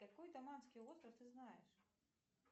какой таманский остров ты знаешь